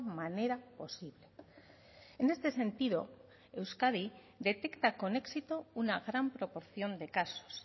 manera posible en este sentido euskadi detecta con éxito una gran proporción de casos